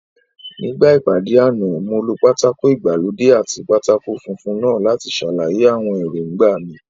Nígbà ìpàdé àná, mo lo pátákó ìgbàlódé àti pátákó funfun náà láti ṣàlàyé àwọn èròńgbà mi